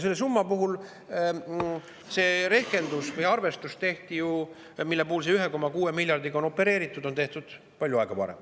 Selle summa puhul see rehkendus või arvestus, opereerides 1,6 miljardiga, on tehtud palju aega varem.